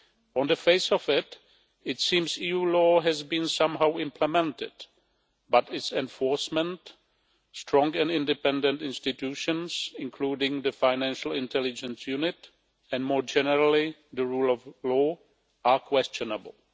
On the face of it, it seems EU law has somehow been implemented but its enforcement, strong and independent institutions including the Financial Intelligence Unit, and more generally the rule of law, are questionable.